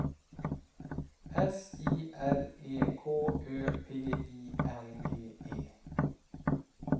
S I R E K Ö P I N G E